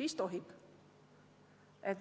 siis tohib.